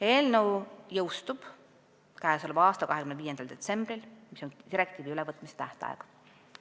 Eelnõu jõustub k.a 25. detsembril, mis on direktiivi ülevõtmise tähtaeg.